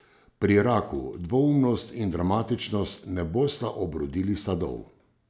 Pri raku dvoumnost in dramatičnost ne bosta obrodili sadov.